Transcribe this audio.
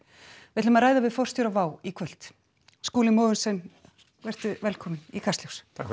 við ætlum að ræða við forstjóra WOW í kvöld Skúli Mogensen vertu velkominn í Kastljós takk